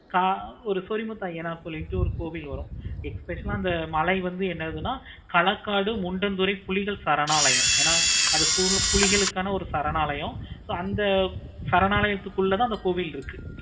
ஆஹ் ஒரு சொறி முத்து அய்யனார் கோவில் ஒன்னு இருக்கு. especial ஆஹ் ஒரு மழை வந்து அங்க இருக்கு. மழைக்காடு முண்டந்துறை புலிகள் சரணாலயம் அது பூரா புலிகளுக்கான சரணாலயம் so அந்த சரணாலயத்துக்குள்ள தான் அந்த கோவில் இருக்குது.